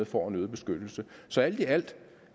får en øget beskyttelse så alt i alt